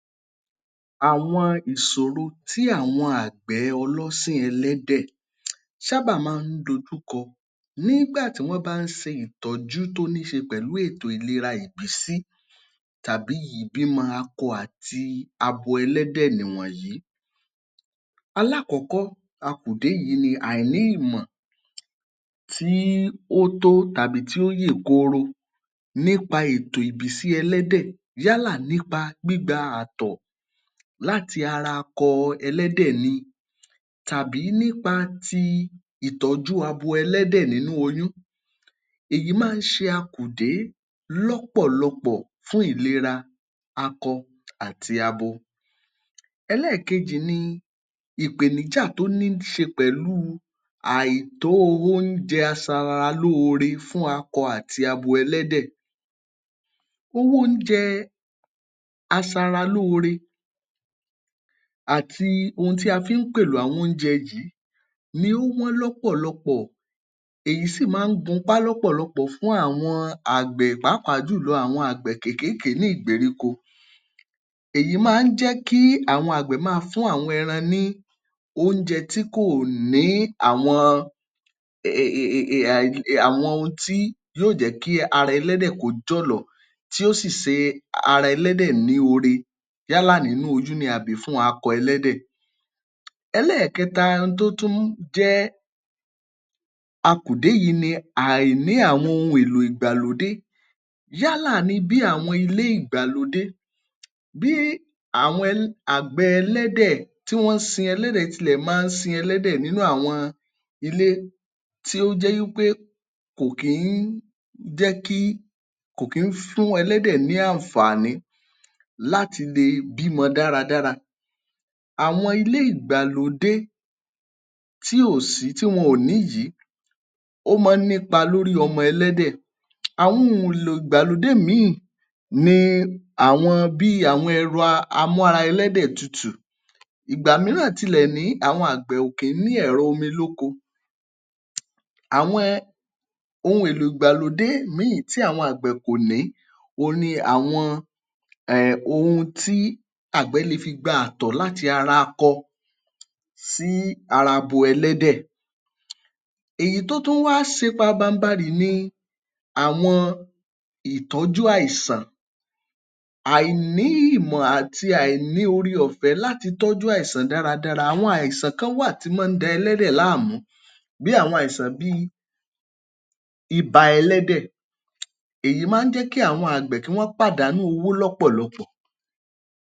Àwọn ìṣòrò tí àwọn àgbẹ̀ ọlọ́sìn ẹ̀lẹ́dẹ̀ sáábà máa nh dojúkọ nígbà tí wọ́n bá ń sin ìtọ́jú toh ní í ṣe pẹ̀lú ètò ìlera ìbísí tàbí ìbímọ akọ àti abo ẹlẹ́dẹ̀ nìwọ̀nyí. Alákọ̀ọ́kọ́ akùdé yìí ni àìní ìmọ̀ tí ó tó tàbí tí ó yè kooro nípa ètò ìbísí ẹlẹ́dẹ̀ yálà nípa gbígba àtọ̀ láti ara akọ ẹlẹ́dẹ̀ ni tàbí nípa ti ìtọ́jú abo ẹ̀lẹ́dẹ̀ nínú oyún. Èyí máa ń ṣe akùdé lọ́pọ̀lọ́pọ̀ fún ìlera akọ àti abo. Ẹlẹ́ẹ̀kejì ni ìpèníjà tó níí ṣe pẹ̀lú àìtó oúnjẹ asaralóore fún akọ àti abo ẹlẹ́dẹ̀. Owó oúnjẹ asaralóore àti ohun tí a fi ń pèlò àwọn oúnjẹ yìí ni ó wọ́n lọ́pọ̀lọ́pọ̀. Èyí sì máa ń gunpá lọ́pọ̀lọ́pọ̀ fún àwọn àgbẹ̀ pàápàá jùlọ àwọn àgbẹ̀ kékéèké ní ìgbèríko. Èyí máa ń jẹ́ kí àwọn àgbẹ̀ máa fún àwọn ẹran ní oúnjẹ tí kò ní àwọn ohun tí yóò jẹ́ kí ara ẹ̀lẹ́dẹ̀ kò jọ̀lọ̀, tí yóò sì ṣe ara ẹlẹ́dẹ̀ ní oore yálà nínú oyún ni tàbí fún akọ ẹlẹ́dẹ̀. Ẹlẹ́ẹ̀kẹta tó tún jẹ́ akùdé yìí ni àìní àwọn ohun èlò ìgbàlódé yálà ni bí àwọn ilé ìgbàlódé, bí àwọn àgbẹ̀ ẹlẹ́dẹ̀ tí wọ́n ń sin ẹlẹ́dẹ̀ tilẹ̀ máa ń sin ẹ̀lẹ́dẹ̀ nínú àwọn ilé tí ó jẹ́ wí pé kò kí ń fún ẹlẹ́dẹ̀ ní àǹfààní láti le bímọ dáradára. Àwọn ilé ìgbàlódé tí ò sí tí wọ́n ò ní yìí ó máa ń nípa lórí ọmọ ẹlẹ́dẹ̀. Àwọn ohun èlò ìgbàlódé míì àwọn bí ẹ̀rọ amú-ara-ẹlẹ́dẹ̀-tutù. Ìgbà mìíràn tilẹ̀ ní àwọn àgbẹ̀ òkè ní ẹrọ omi lóko. Àwọn ohun èlò ìgbàlódé míì tí àwọn àgbẹ̀ kò ní òhun ni àwọn ehn ohun tí agbẹ̀ le fi gba àtọ̀ láti ara akọ sih ara abo ẹlẹ́dẹ̀. Èyí tó tún wá ṣe pabambarì ni àwọn ìtọ́jú àìsàn. Àìní ìmò àti àìní oore ọ̀fẹ́ láti tọ́jú àìṣàn dáradára. Àwọn àìsàn kan wà tí máa ń da ẹlẹ́dẹ̀ láàmú bí i àwọn àìsàn bí i ibà ẹlẹ́dẹ̀; èyí máa ń jẹ́ kí àwọn kí wọ́n pàdánù owó lọ́pọ̀lọ́pọ̀